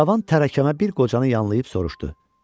Cavan tərəkəmə bir qocanı yanlayıb soruşdu: